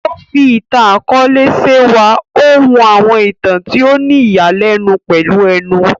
O fí ìtàn-akọọlẹ ṣe wá, o hun àwọn ìtàn tí o ni ìyani lénu pèlú ẹnu.